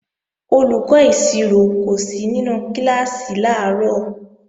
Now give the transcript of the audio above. Olùkọ́ ìṣirò kò sí nínú kíláàsì làárọ̀